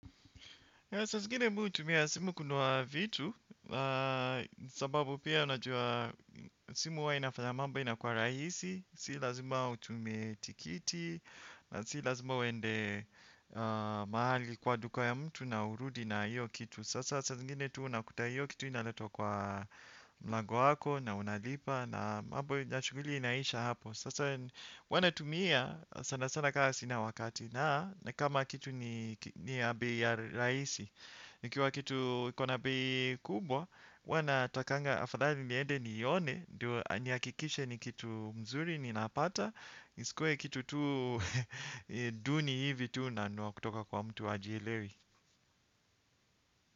Saa zingine mi hutumia simu kununua vitu, sababu pia unajua simu huwa inafayama mambo inakuwa rahisi, si lazima utume tikiti, na si lazima uende mahali kwa duka ya mtu na urudi na iyo kitu. Sasa zaa zingine tu unakuta hiyo kitu inaletwa kwa mlango wako na unalipa na shughuli inaisha hapo. Sasa huwa naitumia sana sana kaa sina wakati na nikama kitu ni ya bei ya rahisi ikiwa kitu iko na bei kubwa huwa natakanga afadhali niede nione ndio nihakikishe ni kitu mzuri ninapata isikue kitu tu duni hivi tu na niwa kutoka kwa mtu ajielewi.